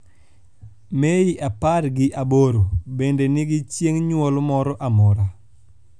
mei apar gi aboro bende nigi chieny nyuol moro amora